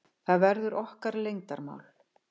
Það verður okkar leyndarmál.